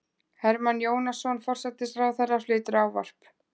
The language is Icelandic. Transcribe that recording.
Hermann Jónasson, forsætisráðherra, flytur ávarp.